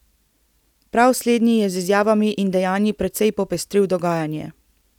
Prav slednji je z izjavami in dejanji precej popestril dogajanje.